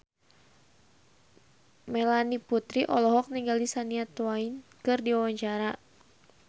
Melanie Putri olohok ningali Shania Twain keur diwawancara